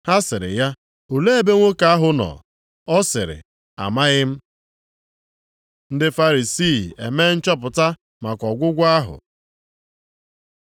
Ha sịrị ya, “Olee ebe nwoke ahụ nọ?” Ọ sịrị, “Amaghị m.” Ndị Farisii emee nchọpụta maka ọgwụgwọ ahụ